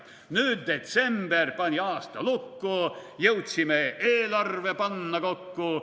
/ Nüüd detsember pani aasta lukku, / jõudsime eelarve panna kokku.